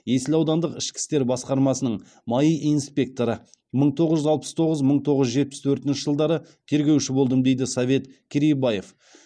есіл аудандық ішкі істер бөлімінің маи инспекторы мың тоғыз жүз алпыс тоғызыншы мың тоғыз жүз жетпіс төртінші жылдары тергеуші болдым дейді совет керейбаев